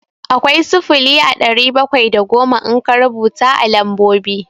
Akwai sifili a ɗari bakwai da goma in ka rubuta a lambobi.